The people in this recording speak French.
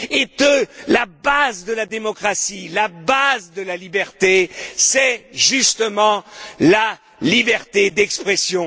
Et que la base de la démocratie, la base de la liberté, c'est justement la liberté d'expression.